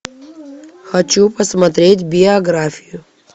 хочу посмотреть биографию